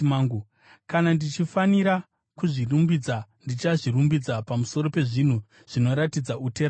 Kana ndichifanira kuzvirumbidza, ndichazvirumbidza pamusoro pezvinhu zvinoratidza utera hwangu.